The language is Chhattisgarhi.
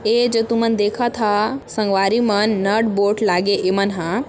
ऐ जो तुमन देखत हा संगवारी मन नट बोट लागे इमन हा।